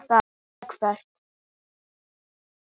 Eða Hvað?